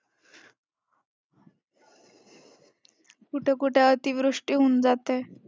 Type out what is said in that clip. कुठे कुठे अतिवृष्टी होऊन जाते.